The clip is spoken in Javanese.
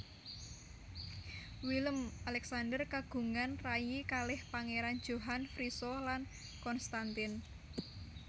Willem Alexander kagungan rayi kalih Pangeran Johan Friso lan Constantijn